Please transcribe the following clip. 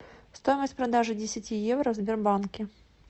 стоимость продажи десяти евро в сбербанке